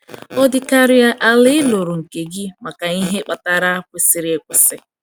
Ọ dịkarịa ala ị lụrụ nke gị maka ihe kpatara kwesịrị ekwesị.